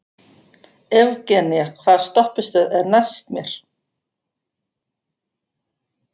Evgenía, hvaða stoppistöð er næst mér?